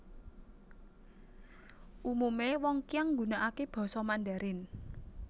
Umume wong Qiang nggunakake Basa Mandarin